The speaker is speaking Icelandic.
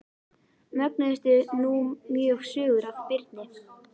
Mögnuðust nú mjög sögur af Birni.